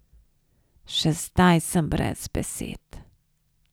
Še zdaj sem brez besed ...